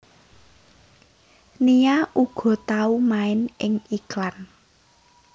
Nia uga tau main ing iklan